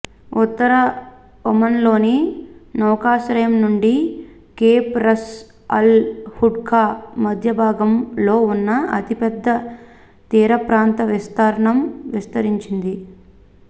ఉత్తర ఒమన్లోని నౌకాశ్రయం నుండి కేప్ రస్ అల్ హడ్కు మధ్యభాగంలో ఉన్న అతిపెద్ద తీరప్రాంత విస్తీర్ణం విస్తరించింది